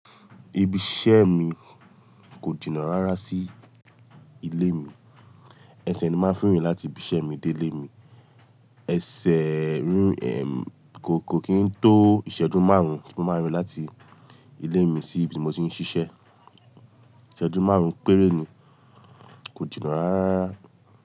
Ibi iṣẹ́ mi kò jìnà rárá sí ilé mi. Ẹsẹ̀ ni mo máa ń fi rìn láti ibi iṣẹ́ mi dé ilé mi. Ẹsẹ̀ rinrín, kò kí n tó ìṣẹ́jú márùn-ún tí mo máa rìn láti ilé mi sí ibi mo ti ń ṣiṣẹ́. Ìṣẹ́jú márùn-ún péré ni, kò jìnà rárá.